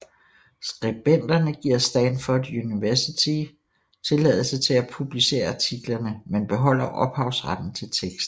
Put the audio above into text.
Skribenterne giver Stanford University tilladelse til at publicere artiklerne men beholder ophavsretten til teksten